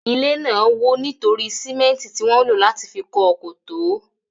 Ilé náà wò nítorí símẹ́ntì tí wọn lò láti fi kọ́ ọ kò tó.